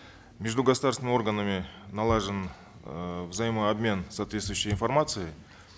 между государственными органами налажен э взаимообмен соответствующей информацией